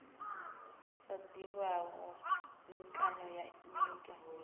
sa ḓivhiho mikano ya nyito